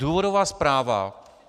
Důvodová zpráva.